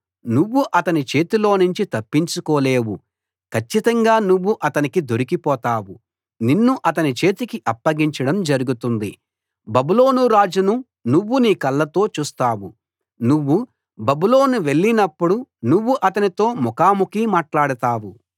నువ్వు అతని చేతిలోనుంచి తప్పించుకోలేవు కచ్చితంగా నువ్వు అతనికి దొరికిపోతావు నిన్ను అతని చేతికి అప్పగించడం జరుగుతుంది బబులోను రాజును నువ్వు నీ కళ్ళతో చూస్తావు నువ్వు బబులోను వెళ్ళినప్పుడు నువ్వు అతనితో ముఖాముఖి మాట్లాడతావు